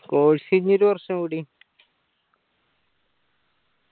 course ഇപ്പൊ ഈ ഒരു വർഷം കൂടി